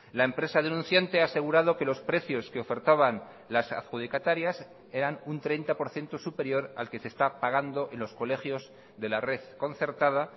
la empresa denunciante ha asegurado que los precios que ofertaban las adjudicatarias eran un treinta por ciento superior al que se está pagando en los colegios de la red concertada